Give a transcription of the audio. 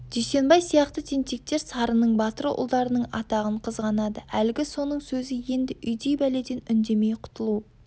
дүйсенбай сияқты тентектер сарының батыр ұлдарының атағын қызғанады әлгі соның сөзі енді үйдей бәледен үндемей құтылу